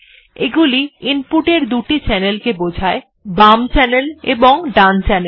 এগুলি ইনপুট এর দুটি চ্যানেল কে বোঝায় বাম চ্যানেল এবং ডান চ্যানেল